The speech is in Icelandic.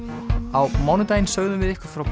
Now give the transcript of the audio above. á mánudaginn sögðum við ykkur frá